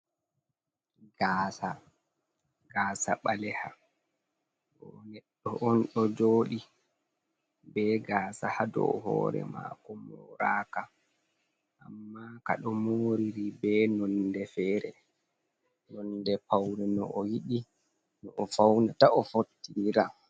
Gasa, gasa ɓaleha ɗo neɗɗo on ɗo joɗi be gasa ha dow hore mako moraka amma ka ɗo moriri be nonde fere nonde paune no o yiɗi, no o faunata o fottinira.